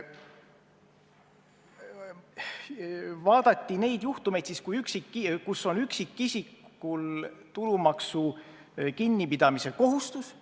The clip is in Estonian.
Vaadati neid juhtumeid, kus on üksikisikul tulumaksu kinnipidamise kohustus.